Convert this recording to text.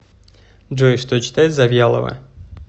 джой что читает завьялова